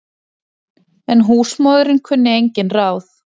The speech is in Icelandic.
En húsmóðirin kunni engin ráð.